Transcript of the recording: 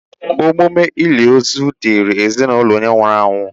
Emume olili ozu dịịrị ezinaụlọ onye nwụrụ anwụ.